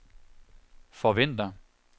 forventer